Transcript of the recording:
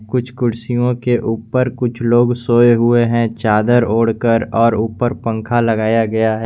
कुछ कुर्सियों के ऊपर कुछ लोग सोए हुए हैं चादर ओढ़कर और ऊपर पंखा लगाया गया है।